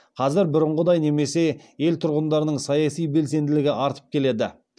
қазір бұрынғыдай немесе ел тұрғындарының саяси белсенділігі артып келеді